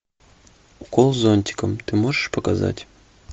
укол зонтиком ты можешь показать